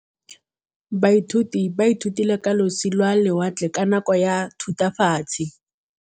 Baithuti ba ithutile ka losi lwa lewatle ka nako ya Thutafatshe.